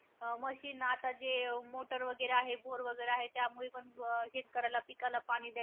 अं machine आता जे, motor वगैरे आहे, bore वगैरे आहे, त्यामुळे पण अं शेतकऱ्याला पिकाला पाणी द्या